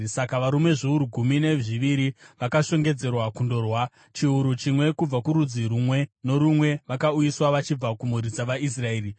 Saka varume zviuru gumi nezviviri vakashongedzerwa kundorwa, chiuru chimwe kubva kurudzi rumwe norumwe, vakauyiswa vachibva kumhuri dzavaIsraeri.